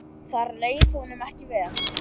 Þar leið honum ekki vel.